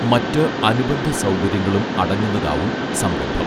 മറ്റ് അനുബന്ധ സൗകര്യങ്ങളും അടങ്ങുന്നതാവും സംരംഭം